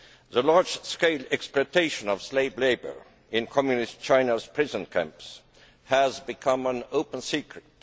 The large scale exploitation of slave labour in Communist China's prison camps has become an open secret.